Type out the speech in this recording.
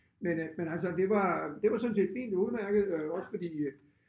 Men øh men altså det var det var sådan set fint udmærket øh også fordi